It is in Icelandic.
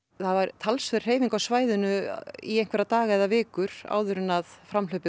talsverð hreyfing á svæðinu í einhverja daga eða vikur áður en